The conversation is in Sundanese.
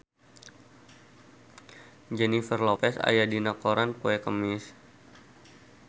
Jennifer Lopez aya dina koran poe Kemis